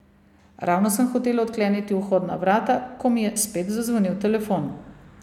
Ravno sem hotela odkleniti vhodna vrata, ko mi je spet zazvonil telefon.